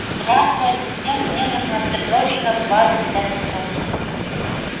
здравствуй ассистент мне нужна срочно ваза для цветов